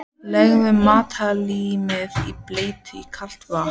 Leggið matarlímið í bleyti í kalt vatn.